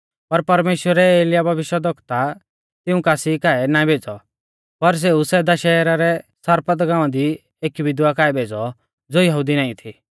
पर परमेश्‍वरै एलियाह भविष्यवक्ता तिऊं कासी काऐ ना भेज़ौ पर सेऊ सैदा शहरा रै सारपत गाँवा दी एकी विधवा काऐ भेज़ौ ज़ो यहुदी नाईं थी